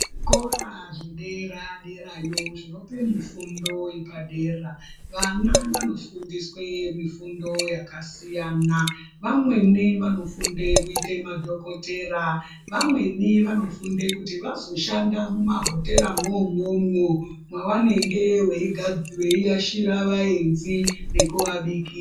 Zvikora zvedera derayo zvinope mifundo yepadera, vana vanofundiswe mifundo yakasiyana. Vamweni vanofunde kuite madhokotera, vamweni vanofunde kuti vazoshanda mumahoteramwo umwomwo, mwavanenge veiga veiashira vaenzi nekuvabikira.